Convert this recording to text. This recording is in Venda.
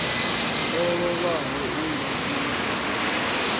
o lovhaho u ngafhi muḓini